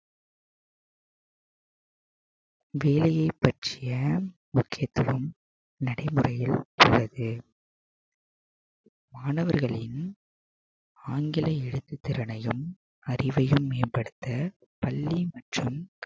வேலையைப் பற்றிய முக்கியத்துவம் நடைமுறையில் உள்ளது மாணவர்களின் ஆங்கில எழுத்துத் திறனையும் அறிவையும் மேம்படுத்த பள்ளி மற்றும்